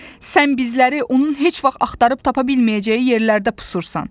Sən bizləri onun heç vaxt axtarıb tapa bilməyəcəyi yerlərdə pusursan.